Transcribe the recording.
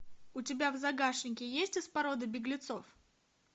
у тебя в загашнике есть из породы беглецов